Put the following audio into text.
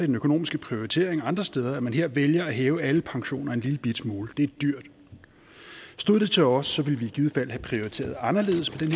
den økonomiske prioritering andre steder at man her vælger at hæve alle pensioner en lillebitte smule det er dyrt stod det til os ville vi i givet fald have prioriteret anderledes med